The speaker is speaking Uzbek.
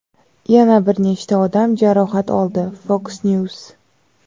yana bir nechta odam jarohat oldi – "Fox News".